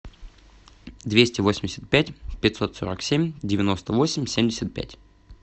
двести восемьдесят пять пятьсот сорок семь девяносто восемь семьдесят пять